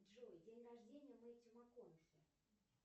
джой день рождения у мэттью макконахи